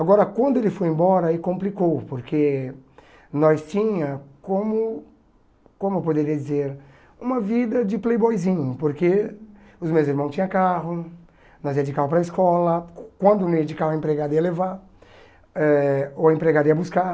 Agora, quando ele foi embora, aí complicou, porque nós tinha, como como eu poderia dizer, uma vida de playboyzinho, porque os meus irmão tinha carro, nós ia de carro para a escola, qu quando não ia de carro, a empregada ia levar, eh ou a empregada ia buscar.